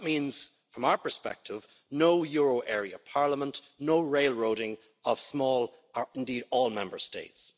That means, from our perspective, no euro area parliament, no railroading of small or indeed any Member States.